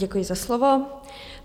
Děkuji za slovo.